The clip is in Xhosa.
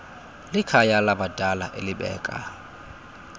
likhaya labadala elibeka